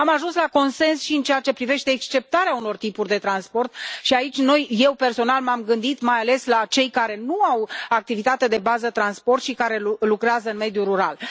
Am ajuns la consens și în ceea ce privește exceptarea unor tipuri de transport și aici, eu personal, m am gândit mai ales la cei care nu au activitate de bază transport și care lucrează în mediul rural.